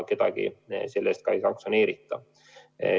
Kedagi selle eest ei sanktsioneerita.